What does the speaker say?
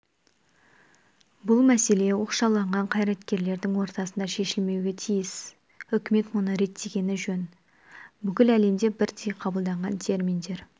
бұл мәселе оқшауланған қайраткерлердің ортасында шешілмеуге тиіс үкімет мұны реттегені жөн бүкіл әлемде бірдей қабылданған терминдер